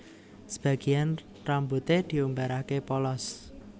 Sebagian rambuté diumbaraké polos